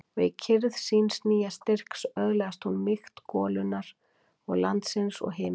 Og í kyrrð síns nýja styrks öðlaðist hún mýkt golunnar og landsins og himinsins.